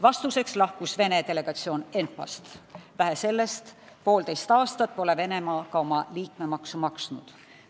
Vastuseks lahkus Vene delegatsioon ENPA-st, vähe sellest, poolteist aastat pole Venemaa ka liikmemaksu maksnud.